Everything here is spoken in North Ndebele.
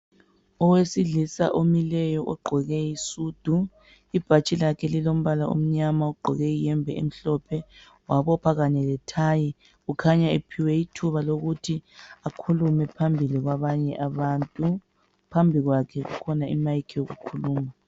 Owesilisa omileyo ogqoke isudu. Ibhatshi lakhe lilombala omnyama, ugqoke iyembe emhlophe wabopha kanye lethayi. Kukhanya ephiwe ithuba lokuthi ekhulume phambili kwabanye abantu. Phambi kwakhe kukhona i"mic" yokukhuluma.